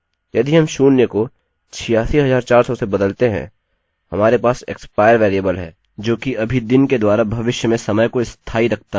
यदि हम शून्य को 86400 से बदलते हैं हमारे पास expire वेरिएबल है जो कि अभी दिन के द्वारा भविष्य में समय को स्थाई रखता है